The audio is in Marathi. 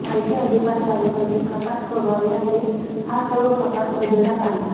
माहिती अधिकार कार्यकर्ते प्रकाश पोरवाल यांनी हा सर्व प्रकार उजेडात आणला